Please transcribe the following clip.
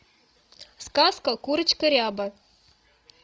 сказка курочка ряба